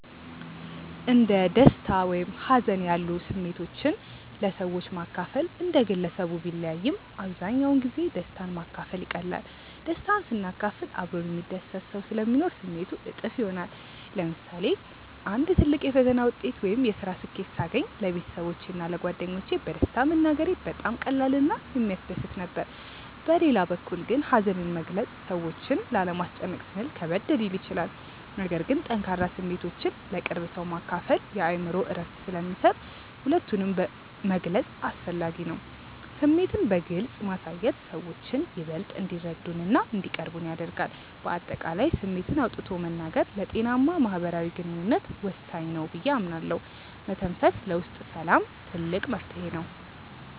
እንደ ደስታ ወይም ሀዘን ያሉ ስሜቶችን ለሰዎች ማካፈል እንደ ግለሰቡ ቢለያይም፣ አብዛኛውን ጊዜ ደስታን ማካፈል ይቀላል። ደስታን ስናካፍል አብሮን የሚደሰት ሰው ስለሚኖር ስሜቱ እጥፍ ይሆናል። ለምሳሌ አንድ ትልቅ የፈተና ውጤት ወይም የስራ ስኬት ሳገኝ ለቤተሰቦቼ እና ለጓደኞቼ በደስታ መናገሬ በጣም ቀላል እና የሚያስደስት ነበር። በሌላ በኩል ግን ሀዘንን መግለጽ ሰዎችን ላለማስጨነቅ ስንል ከበድ ሊል ይችላል። ነገር ግን ጠንካራ ስሜቶችን ለቅርብ ሰው ማካፈል የአእምሮ እረፍት ስለሚሰጥ ሁለቱንም መግለጽ አስፈላጊ ነው። ስሜትን በግልጽ ማሳየት ሰዎችን ይበልጥ እንዲረዱንና እንዲቀርቡን ያደርጋል። በአጠቃላይ ስሜትን አውጥቶ መናገር ለጤናማ ማህበራዊ ግንኙነት ወሳኝ ነው ብዬ አምናለሁ። መተንፈስ ለውስጥ ሰላም ትልቅ መፍትሄ ነው።